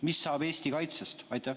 Mis saab Eesti kaitsest?